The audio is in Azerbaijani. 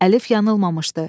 Əlif yanılmamışdı.